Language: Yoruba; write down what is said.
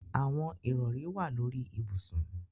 Awọn irọri wa lori ibusun